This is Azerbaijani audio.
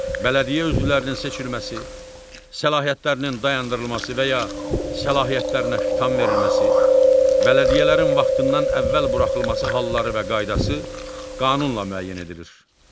Bələdiyyə üzvlərinin seçilməsi, səlahiyyətlərinin dayandırılması və ya səlahiyyətlərinə xitam verilməsi, bələdiyyələrin vaxtından əvvəl buraxılması halları və qaydası qanunla müəyyən edilir.